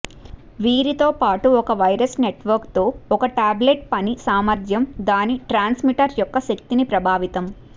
వీరితోపాటు ఒక wireless network తో ఒక టాబ్లెట్ పని సామర్థ్యం దాని ట్రాన్స్మిటర్ యొక్క శక్తిని ప్రభావితం